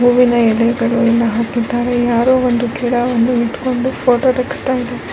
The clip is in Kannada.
ಹೂವಿನ ಎಲೆಗಳನ್ನು ಹಾಕಿದ್ದಾರೆ ಯಾರೋ ಒಂದು ಗಿಡವನ್ನು ಇಟ್ಕೊಂಡು ಫೊಟೊ ತೆಗಿಸ್ತಾ ಇದ್ದಾರೆ.